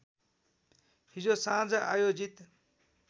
हिजो साँझ आयोजित